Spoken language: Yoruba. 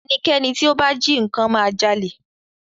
Ẹnikẹ́ni tí ó bá jí nnkan ma jalè